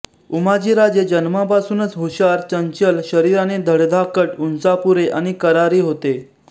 उमाजीराजे जन्मापासूनच हुशार चंचल शरीराने धडधाकट उंचापुरे आणि करारी होते